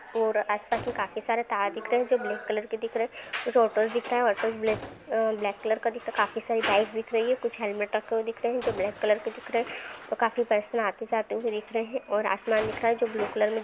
और आस पास काफी सारे तार दिख रहे है जो ब्लैक कलर के दिख रहे है उस होटल देखता होटल ब्लेस्क अ-ब्लैक कलर का देखता काफी सारी बाइक्स दिख रही है कुछ हेलमेट रखे हुए दिख रहे है। जो ब्लैक कलर के दिख रहे है और काफी पर्सन आते जाते हुए दिख रहे है और आसमान दिख रहा है जो ब्लू कलर में दि--